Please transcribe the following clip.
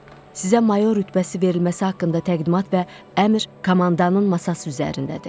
Sizə mayor rütbəsi verilməsi haqqında təqdimat və əmr komandanın masası üzərindədir.